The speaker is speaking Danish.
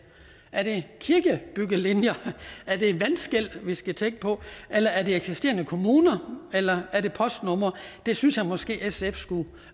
er det kirkebyggelinjer er det vandskel vi skal tænke på eller er det eksisterende kommuner eller er det postnumre det synes jeg måske at sf skulle